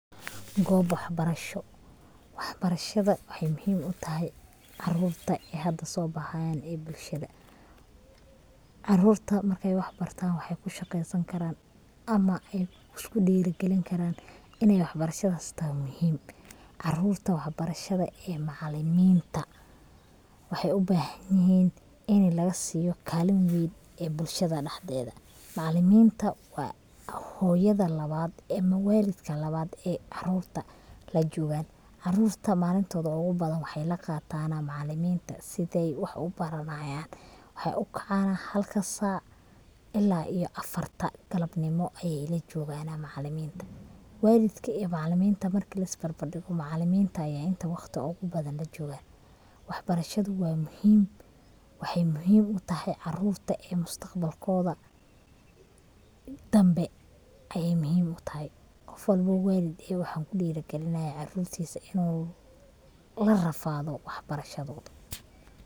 Gob wax barasho. wax barashada waxay muhim utahay caarurta ee hada soo baxayan ee bulshada. Caarurta markay wax bartaan waxay kushaqeesan karaan ama ay isku dhiiri gelin karaan inay wax barashadaas tahay muhiim caarurta wax barashada ee macaaliminta waxay ubahan yihin ini laga siiyo kalin weyn ee bulshada dhaxdeeda, macaaliminta waa hooyada labad ama waalidka labad ay caarurta lajoogan, caarurta malintooda ogu badan waxay laqaatana macaaliminta siday wax ubaranayan, waxay u kacaana halka saac ila iyo afarta galab nimo ayay ila jogana macaaliminta, waalidka iyo macaaliminta markii lis barbar dhigo macaaliminta aya intaa waqti ogu badan lajogaa, wax barashaduu waa muhiim, waxay muhiim utahay caarurta ee mustaqbalkooda dambe ayay muhiim utahay. qof walbo oo walid waxan kudhiri gelinayan caarurtiisa inu la rafaado wax barashadooda